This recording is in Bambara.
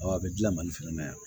a bɛ gilan mali fɛnɛ na yan